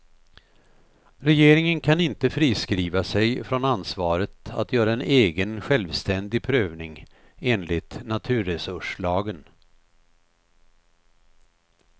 Regeringen kan inte friskriva sig från ansvaret att göra en egen, självständig prövning enligt naturresurslagen.